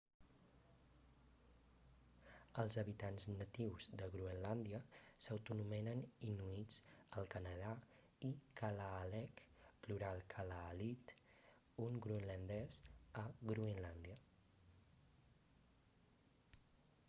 els habitants natius de groenlàndia s'autoanomenen inuits al canadà i kalaalleq plural kalaallit un groenlandès a groenlàndia